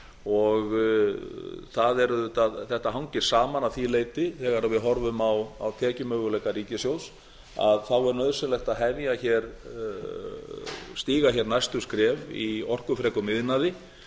og þetta hangir saman að því leyti þegar við horfum á tekjumöguleika ríkissjóðs að þá er nauðsynlegt að stíga hér næstu skref í orkufrekum iðnaði